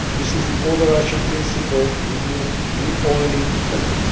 This is the overarching principle we all need to follow.